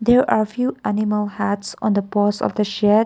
here are few animal hats on the pose of the shed.